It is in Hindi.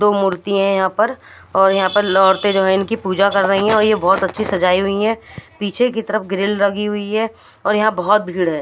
दो मूर्ति है यहा पर और यहा पर औरत जो है इनकी पूजा कर रही है बहोत अछि सजाई हुई है पीछे की तरफ ग्रील लगी हुई है और यहा बहोत भीड़ है।